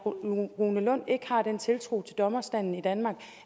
rune lund ikke har den tiltro til dommerstanden i danmark